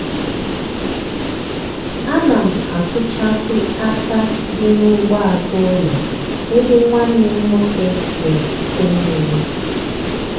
a na m asụchasị átá dị n'ugbo azụ ụlọ ebe nwanne m nwoke na-echute mmiri.